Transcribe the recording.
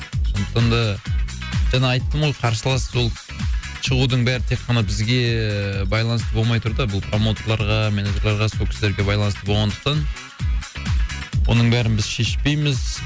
сондықтан да жаңа айттым ғой қарсылас ол шығудың бәрі тек қана бізге ііі байланысты болмай тұр да бұл промоутерларға менеджерларға сол кісілерге байланысты болғандықтан оның бәрін біз шешпейміз